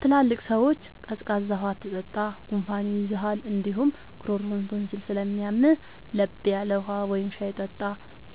ትላልቅ ሰዎች “ቀዝቃዛ ውሃ አትጠጣ፣ ጉንፋን ይይዝሃል እንዲሁም ጉሮሮህን ቶንሲል ስለሚያምህ፤ ለብ ያለ ውሃ ወይም ሻይ ጠጣ”